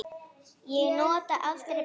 Ég nota aldrei buff.